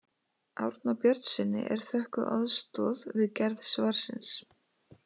Árna Björnssyni er þökkuð aðstoð við gerð svarsins.